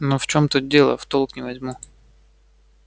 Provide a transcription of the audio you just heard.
но в чём тут дело в толк не возьму